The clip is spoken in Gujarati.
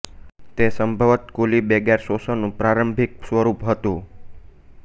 તે સંભવતઃ કૂલી બેગાર શોષણનું પ્રારંભિક સ્વરૂપ હતું